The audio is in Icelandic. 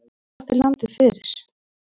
Hver átti landið fyrir?